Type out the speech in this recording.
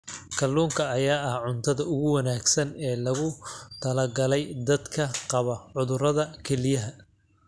Kalluunka ayaa ah cuntada ugu wanaagsan ee loogu talagalay dadka qaba cudurrada kelyaha.